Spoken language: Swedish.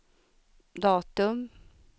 datum